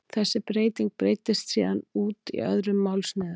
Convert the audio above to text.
Þessi breyting breiddist síðan út í öðrum málsniðum.